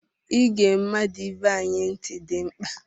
Ịge mmadụ ibe anyị ntị dị mkpa.